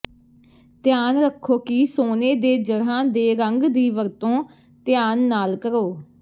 ਧਿਆਨ ਰੱਖੋ ਕਿ ਸੋਨੇ ਦੇ ਜੜ੍ਹਾਂ ਦੇ ਰੰਗ ਦੀ ਵਰਤੋਂ ਧਿਆਨ ਨਾਲ ਕਰੋ